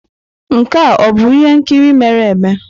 Nke a ọ bụ ihe nkiri mere eme?